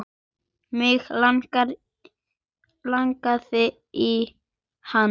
Mig langaði í hana.